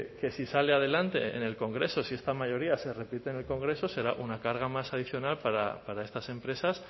que si sale adelante en el congreso si esta mayoría se repite en el congreso será una carga más adicional para estas empresas